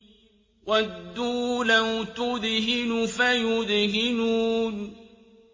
وَدُّوا لَوْ تُدْهِنُ فَيُدْهِنُونَ